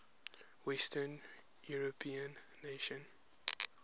western european nations